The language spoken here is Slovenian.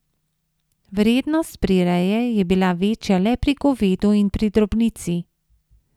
Vrednost prireje je bila večja le pri govedu in pri drobnici.